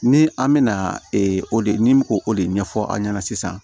Ni an mɛna o de o de ɲɛfɔ aw ɲɛna sisan